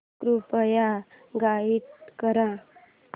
कृपया गाईड कर